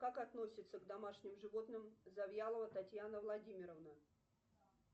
как относится к домашним животным завьялова татьяна владимировна